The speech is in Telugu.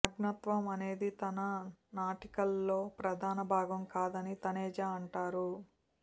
నగ్నత్వం అనేది తన నాటికల్లో ప్రధాన భాగం కాదని తనేజా అంటారు